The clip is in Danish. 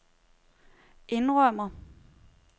indrømmer